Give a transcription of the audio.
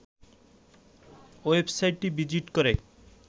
ওয়েবসাইটটি ভিজিট করে